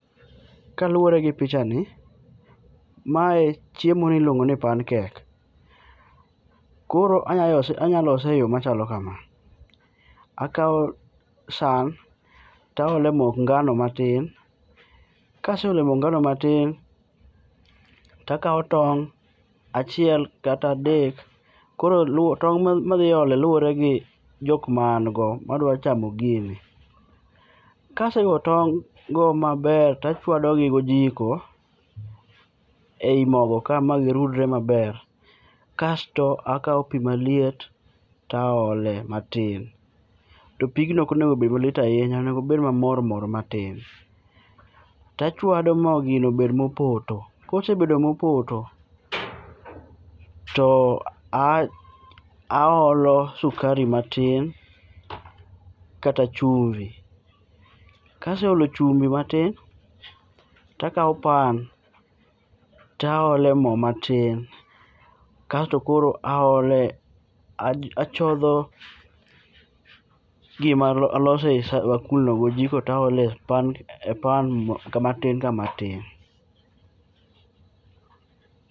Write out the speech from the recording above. Kaluore gi picha ni, mae, chiemo ni iluongo ni pancake. Koro anya lose, anya lose e yoo machalo kama. Akao san taole mok ngano matin kaseole mok ngano matin takawo tong' achiel kata adek koro luore, tong madhi ole luoregi jokma an go madwa chamo gini. Kasego tong maber tachwado gi gojiko ei mogo ka ma girudre maber ,kasto akao pii maliet taole matin, topigno onego bed maliet ahinya, obed mamor mor matin tachwado nyaka gino obed mopoto, kosebedo mopoto to aolo sukari matin kata chumvi. Kaseolo chumbi matin takao pan taole moo matin kasto koro aole, achodho gima alose e san, bakul gi ojiko to aole pan kamatin kamatin.